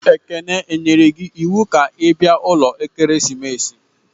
Ekene, e nyere gi iwu ka i bia ulo ekeresimesi!